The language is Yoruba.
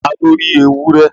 ta lo ri ewurẹ?